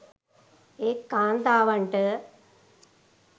ඒත් කාන්තාවන්ට